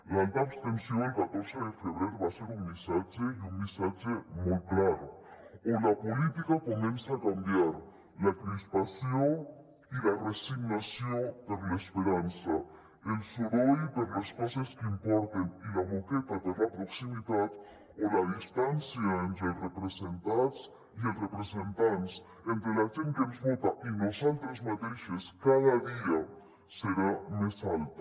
l’alta abstenció el catorze de febrer va ser un missatge i un missatge molt clar o la política comença a canviar la crispació i la resignació per l’esperança el soroll per les coses que importen i la moqueta per la proximitat o la distància entre els representats i els representants entre la gent que ens vota i nosaltres mateixes cada dia serà més alta